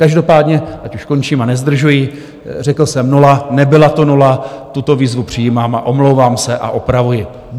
Každopádně, ať už končím a nezdržuji, řekl jsem nula, nebyla to nula, tuto výzvu přijímám a omlouvám se a opravuji.